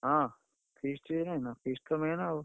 ହଁ feast feast ତ main ଆଉ।